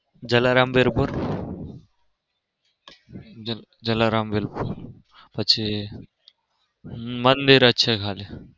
જલારામ વીરપુર? જલારામ વીરપુર પછી મંદિર જ છે ખાલી.